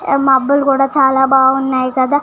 ఏం మబ్బులు కూడా చాలా బాగున్నాయి కదా.